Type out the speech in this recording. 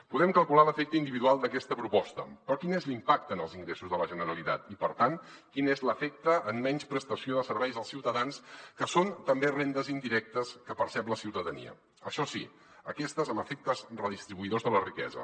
podem calcular l’efecte individual d’aquesta proposta però quin és l’impacte en els ingressos de la generalitat i per tant quin és l’efecte en menys prestació de serveis als ciutadans que són també rendes indirectes que percep la ciutadania això sí aquestes amb efectes redistribuïdors de la riquesa